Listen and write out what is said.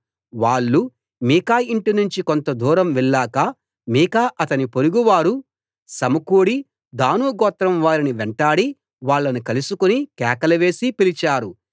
వాళ్ళు మీకా ఇంటి నుంచి కొంత దూరం వెళ్ళాక మీకా అతని పొరుగు వారూ సమకూడి దాను గోత్రం వారిని వెంటాడి వాళ్ళను కలుసుకుని కేకలు వేసి పిలిచారు